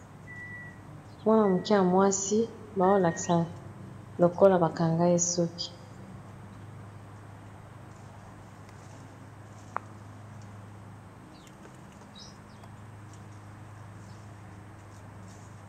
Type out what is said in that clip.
mwana muke ya mwasi baolakisa lokola bakanga esoki